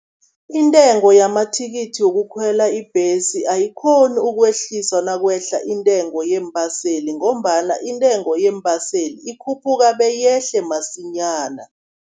Intengo yamathikithi wokukhwela ibhesi ayikghoni ukwehliswa nakwehla iintengo yeembaseli, ngombana intengo yeembaseli ikhuphuka beyehle masinyana.